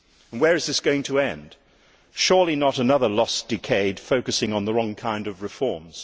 Where is this going to end? Surely not another lost decade focusing on the wrong kind of reforms?